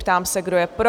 Ptám se, kdo je pro?